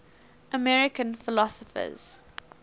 american philosophers